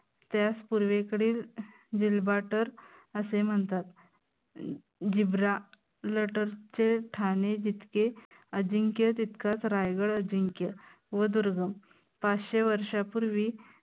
त्यास पूर्वेकडील अं असे म्हणतात ठाने जितके अजिंक्य तितकाच रायगड अजिंक्य व दुर्ग पाचशे वर्षांपूर्वी